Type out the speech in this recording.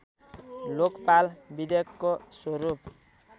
लोकपाल विधेयकको स्वरूप